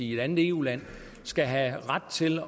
i et andet eu land skal have ret til